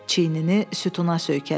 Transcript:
Çiyinini sütuna söykədi.